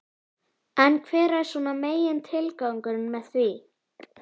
En hver er svona megin tilgangurinn með því?